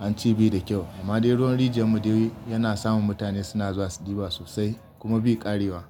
an ce bai da kyau. Amma dai ruwan rijiya mu dai yana samun mutane suna zuwa su ɗiba sosai kuma bai ƙarewa.